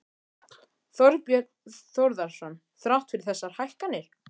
Þorbjörn Þórðarson: Þrátt fyrir þessar hækkanir?